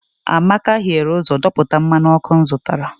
amaka hiere ụzọ dọpụta mmanụ ọkụ m zụtara